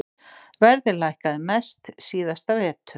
Verðið lækkaði mest síðasta vetur.